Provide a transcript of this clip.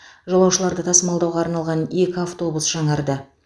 жолаушыларды тасымалдауға арналған екі автобус жаңарды